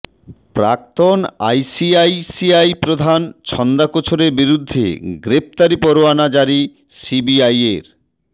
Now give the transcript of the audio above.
প্রাক্তন আইসিআইসিআই প্রধান ছন্দা কোছরের বিরুদ্ধে গ্রেফতারি পরোয়ানা জারি সিবিআইয়ের